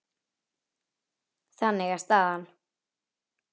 Þannig er staðan.